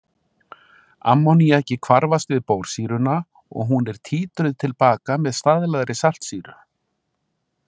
Ammóníakið hvarfast við bórsýruna og hún er títruð til baka með staðlaðri saltsýru.